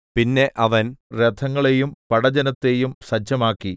പിന്നെ അവൻ രഥങ്ങളെയും പടജ്ജനത്തെയും സജ്ജമാക്കി